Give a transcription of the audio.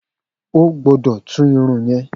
O gbọ́dọ̀ tú Irun yẹn.